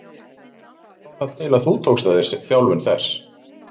Hvernig kom það til að þú tókst að þér þjálfun þess?